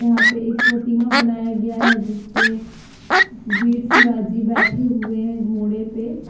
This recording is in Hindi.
यहां पे एक प्रतिमा बनाया गया है जिस पे वीर शिवाजी बैठे हुए हैं घोड़े पे।